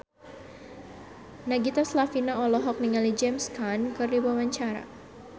Nagita Slavina olohok ningali James Caan keur diwawancara